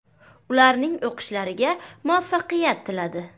Ularning o‘qishlariga muvaffaqiyat tiladi.